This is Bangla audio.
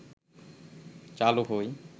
চালু হয়